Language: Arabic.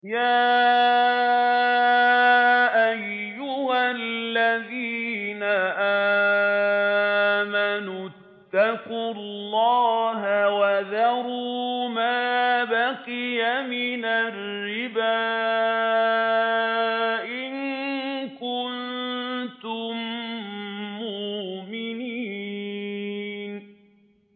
يَا أَيُّهَا الَّذِينَ آمَنُوا اتَّقُوا اللَّهَ وَذَرُوا مَا بَقِيَ مِنَ الرِّبَا إِن كُنتُم مُّؤْمِنِينَ